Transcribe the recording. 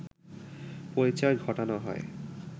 পরিচয় ঘটানো হয়